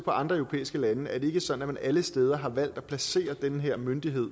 andre europæiske lande ikke sådan at man alle steder har valgt at placere den her myndighed